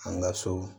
An ka so